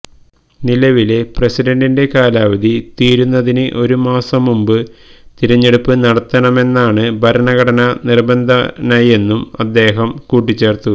നിലവിലെ പ്രസിഡന്റിന്റെ കാലാവധി തീരുന്നതിന് ഒരു മാസം മുമ്പ് തെരഞ്ഞെടുപ്പ് നടത്തണമെന്നാണ് ഭരണഘടനാ നിബന്ധനയെന്നും അദ്ദേഹം കൂട്ടിച്ചേര്ത്തു